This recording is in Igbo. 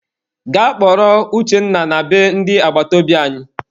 Gaa kpọrọ Uchenna na be ndị agbataobi anyị!